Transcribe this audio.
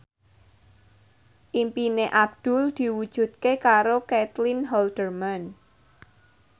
impine Abdul diwujudke karo Caitlin Halderman